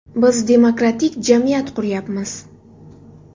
Biz demokratik jamiyat quryapmiz.